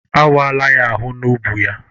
A wala ya ahụ n'ubu ya.